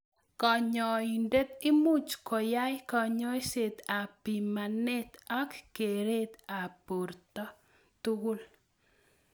Kanyoindet imuch koyai kanyoiset ab bimanet ak keret ab borto tugul.